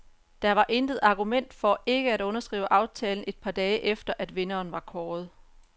Der var intet argument for ikke at underskrive aftalen et par dage efter, at vinderen var kåret.